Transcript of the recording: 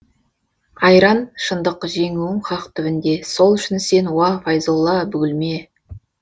айран шындық жеңуің хақ түбінде сол үшін сен уа файзолла бүгілме